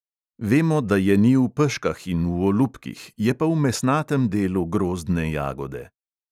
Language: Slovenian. Vemo, da je ni v peškah in v olupkih, je pa v mesnatem delu grozdne jagode.